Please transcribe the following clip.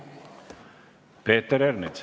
Peeter Ernits.